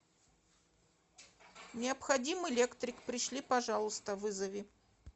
необходим электрик пришли пожалуйста вызови